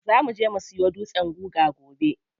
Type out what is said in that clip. Za muje mu siyo dutsen guga gobe.